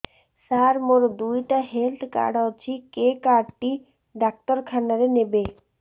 ସାର ମୋର ଦିଇଟା health card ଅଛି କେ କାର୍ଡ ଟି ଡାକ୍ତରଖାନା ରେ ନେବେ